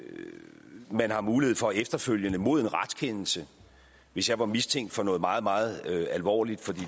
man har mulighed for efterfølgende mod en retskendelse hvis jeg var mistænkt for noget meget meget alvorligt for det